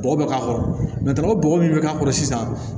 Bɔgɔ bɛ k'a kɔrɔ o bɔgɔ min bɛ k'a kɔrɔ sisan